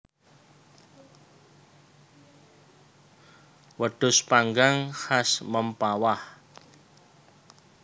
Wedhus panggang khas Mempawah